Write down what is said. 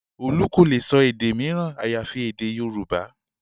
Olú kò lè sọ èdè mìíràn àyàfi èdè Yorùbá